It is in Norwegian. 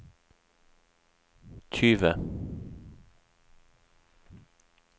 tyve